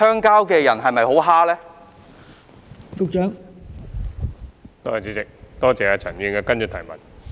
代理主席，多謝陳議員的補充質詢。